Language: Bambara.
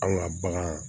Anw ka bagan